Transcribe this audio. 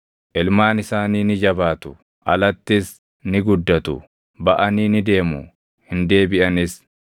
Ilmaan isaanii ni jabaatu; alattis ni guddatu; baʼanii ni deemu; hin deebiʼanis.